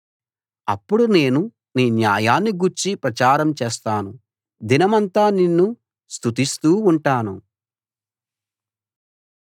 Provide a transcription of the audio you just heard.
అప్పుడు నేను నీ న్యాయాన్ని గూర్చి ప్రచారం చేస్తాను దినమంతా నిన్ను స్తుతిస్తూ ఉంటాను